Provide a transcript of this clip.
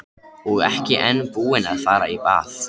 Og ekki enn búinn að fara í bað.